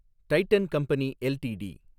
Titan company LTD